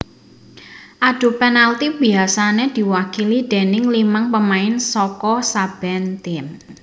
Adu penalti biasané diwakili déning limang pemain saka saben tim